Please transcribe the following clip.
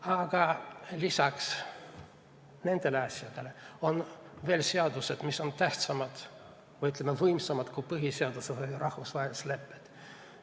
Aga lisaks nendele asjadele on veel seadused, mis on tähtsamad või, ütleme, võimsamad kui põhiseadus või rahvusvahelised lepped.